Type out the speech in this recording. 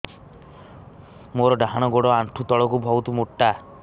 ମୋର ଡାହାଣ ଗୋଡ ଆଣ୍ଠୁ ତଳୁକୁ ବହୁତ ମୋଟା